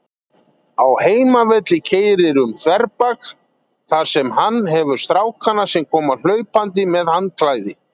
Á heimavelli keyrir um þverbak, þar sem hann hefur stráka sem koma hlaupandi með handklæði.